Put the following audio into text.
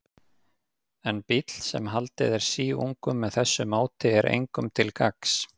En bíll, sem haldið er síungum með þessu móti, er engum til gagns.